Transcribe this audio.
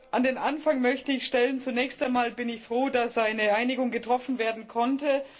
An den Anfang möchte ich stellen Zunächst einmal bin ich froh, dass eine Einigung getroffen werden konnte.